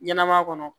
Ɲɛnɛma kɔnɔ